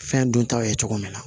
Fɛn duntaw ye cogo min na